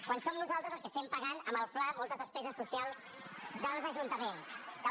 quan som nosaltres els que estem pagant amb el fla moltes despeses socials dels ajuntaments